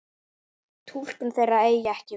Túlkun þeirra eigi ekki við.